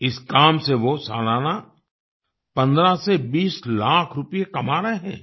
इस काम से वो सालाना 15 से 20 लाख रूपए कमा रहे हैं